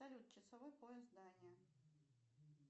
салют часовой пояс дания